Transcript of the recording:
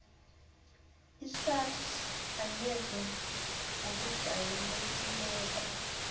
isars angeze ngokujayelekileko